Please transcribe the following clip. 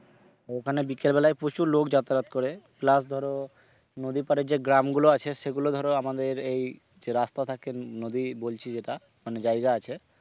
ওখানে বিকেল বেলায় প্রচুর লোক যাতায়াত করে plus ধরো নদী পারে যে গ্রামগুলো আছে সেগুলো ধরো আমাদের এই যে রাস্তা থাকে নদী বলছি যেটা মানে জায়গা আছে,